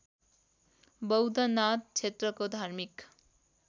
बौद्धनाथ क्षेत्रको धार्मिक